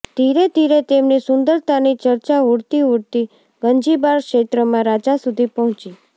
ધીરે ધીરે તેમની સુંદરતાની ચર્ચા ઉડતી ઉડતી ગંજીબાર ક્ષેત્રમાં રાજા સુધી પહોંચી